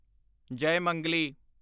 Jayamangali